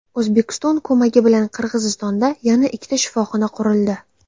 O‘zbekiston ko‘magi bilan Qirg‘izistonda yana ikkita shifoxona qurildi.